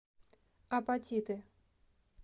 апатиты